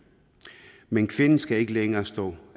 men kvinden skal ikke længere stå